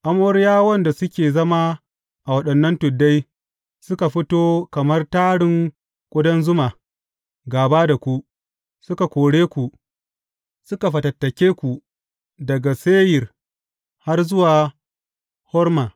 Amoriyawan da suke zama a waɗannan tuddai, suka fito kamar tarin ƙudan zuma gāba da ku, suka kore ku, suka fatattake ku daga Seyir har zuwa Horma.